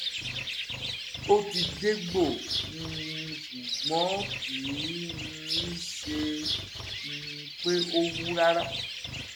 ó ti dégbò um ṣùgbọ́n kì um í ṣe um pé ó wú rárá